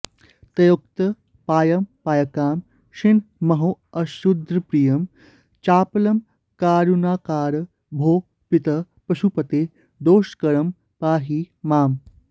त्यक्तोपायमपायकांक्षिणमहोऽशुद्धप्रियं चापलं कारुण्याकर भोः पितः पशुपते दोषाकरं पाहि माम्